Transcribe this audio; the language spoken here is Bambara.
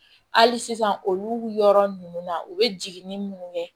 Hali sisan olu yɔrɔ ninnu na u bɛ jigin ni minnu ye